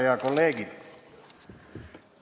Head kolleegid!